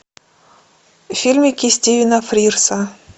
фильмики стивена фрирза